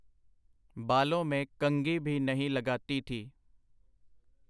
ਬਾਲੋਂ ਮੇਂ ਕੰਘੀ ਭੀ ਨਹੀਂ ਲਗਾਤੀ ਥੀ.